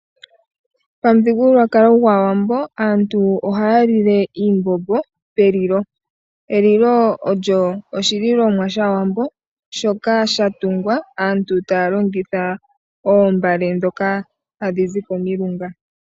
Momu thigululwakalo ngwo shiwambo aantu ohaya lingitha elilo mpoka hapu lilwa oshimbombo. Elilo olya longwa noo mbale.